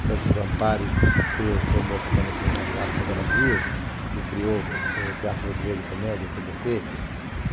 Franco Zampari formou a Companhia Cinematográfica Veracruz e criou o Teatro Brasileiro de Comédia, o tê bê cê.